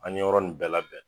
An ye yɔrɔ nin bɛɛ la bɛn